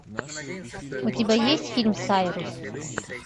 у тебя есть фильм сайрус